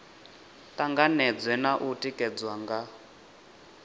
tanganedzwe na u tikedzwa nga